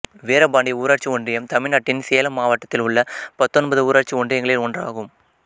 வீரபாண்டி ஊராட்சி ஒன்றியம் தமிழ்நாட்டின் சேலம் மாவட்டத்தில் உள்ள பத்தொன்பது ஊராட்சி ஒன்றியங்களில் ஒன்றாகும்